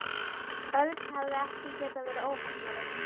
Örn hefði ekki getað verið óheppnari.